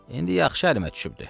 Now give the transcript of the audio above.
İndi yaxşı əlimə düşübdü.